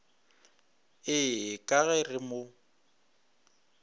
ee ka ge re mo